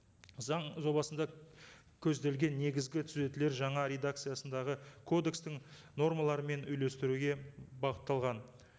заң жобасында көзделген негізгі түзетулер жаңа редакциясындағы кодекстің нормаларымен үйлестіруге бағытталған